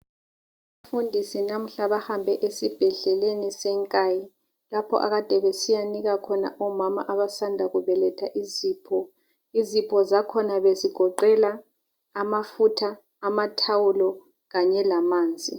Umfundisi namuhla bahambe esibhedleleni seNkayi, lapho akade besiya nika khona omama abasanda kubeletha izipho. Izipho zakhona bezigoqela amafutha, amathawula kanye lamanzi.